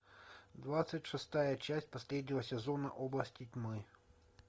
двадцать шестая часть последнего сезона области тьмы